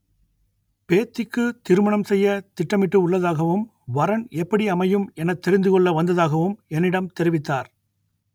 பேத்திக்கு திருமணம் செய்ய திட்டமிட்டு உள்ளதாகவும் வரன் எப்படி அமையும் எனத் தெரிந்து கொள்ள வந்ததாகவும் என்னிடம் தெரிவித்தார்